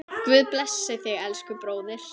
Guð blessi þig, elsku bróðir.